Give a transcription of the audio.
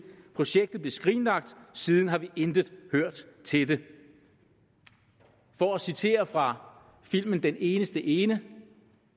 projektet blev skrinlagt og siden har vi intet hørt til det for at citere fra filmen den eneste ene